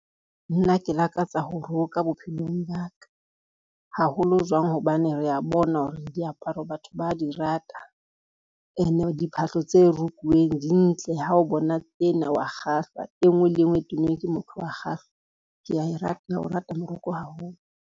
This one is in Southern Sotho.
Nna ke lakatsa ho roka bophelong ba ka, haholo jwang hobane rea bona hore diaparo batho ba di rata ene diphahlo tse rukuweng di ntle. Ha o bona ena wa kgahlwa, e ngwe le e ngwe e tennweng ke motho wa kgahlwa kea o rata moroko haholo.